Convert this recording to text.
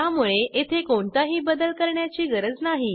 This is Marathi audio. त्यामुळे येथे कोणताही बदल करण्याची गरज नाही